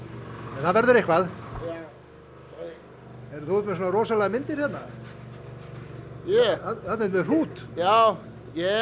en það verður eitthvað já heyrðu þú ert með svona rosalega myndir þarna þarna ertu með hrút já ég